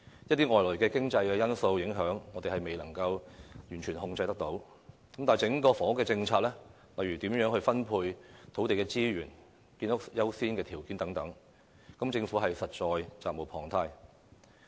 一些外來經濟因素的影響，我們固然未能完全控制，但整體房屋政策，例如土地資源如何分配和建屋優次等問題，政府實在責無旁貸。